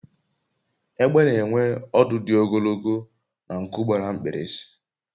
egbe n'enwe ọdụ di ogologo na nku gbara mkpirisi